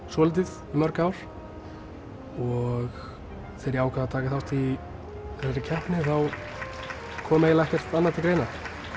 svolítið í mörg ár og þegar ég ákvað að taka þátt í þessari keppni þá kom eiginlega ekkert annað til greina